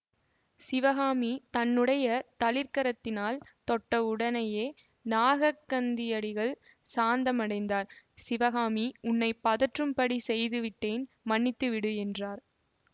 சிவகாமி தன்னுடைய தளிர்க்கரத்தினால் தொட்ட உடனேயே நாகக்கந்தியடிகள் சாந்தமடைந்தார் சிவகாமி உன்னை பதற்றும்படி செய்து விட்டேன் மன்னித்து விடு என்றார்